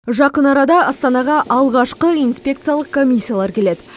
жақын арада астанаға алғашқы инспекциялық комиссиялар келеді